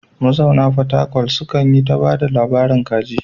Mazauna fatakwal sukan yi ta ba da labaran kaji.